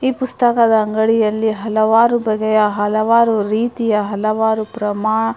ಈ ಪುಸ್ತಕದ ಅಂಗಡಿಯಲ್ಲಿ ಹಲವಾರು ಬಗೆಯ ಹಲವಾರು ರೀತಿಯ ಹಲವಾರು ಪ್ರಮಾ --